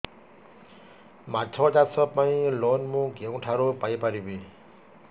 ମାଛ ଚାଷ ପାଇଁ ଲୋନ୍ ମୁଁ କେଉଁଠାରୁ ପାଇପାରିବି